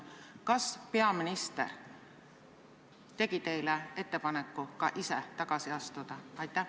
Kas peaminister tegi teile ettepaneku ka ise tagasi astuda?